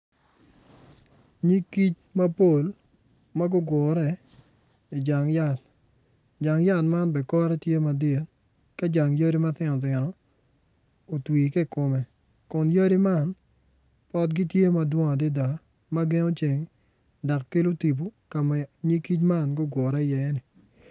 Nyig kic mapol ma gugure i jang yat jang yat man bene kore tye madit ka jang yadi matino tino otwi ki i kome kun jang yadi man potgi tye ma dwong adada ma gengo ceng dok kelo tipo ka ma nyig kic man gugure iye.